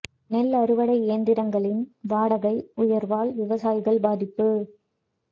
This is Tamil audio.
நெல் அறுவடை இயந்திரங்களின் வாடகை உயர்வால் விவசாயிகள் பாதிப்பு